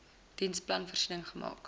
diensplan voorsiening gemaak